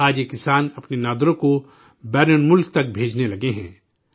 آج یہ کسان اپنے نادرو کو بیرونی ممالک تک بھیجنے لگے ہیں